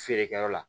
Feerekɛyɔrɔ la